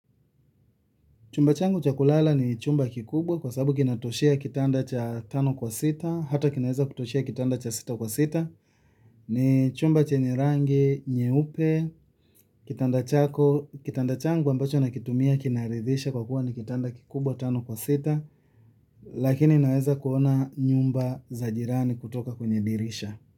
Chumba changu cha kulala ni kubwa kwa sababu kinatoshea kitanda cha tano kwa sita hata kinaweza kutoshea kitanda cha sita kwa sita. Ni chumba chenye rangi nyeupe. Kitanda chako, kitanda changu ambacho nakitumia kinaridhisha kwa kuwa ni kitanda kikubwa tano kwa sita lakini naweza kuona nyumba za jirani kutoka kwenye dirisha.